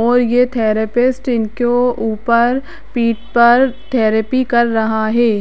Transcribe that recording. और ये थेरेपिस्ट इनको ऊपर पीठ पर थेरेपी कर रहा है।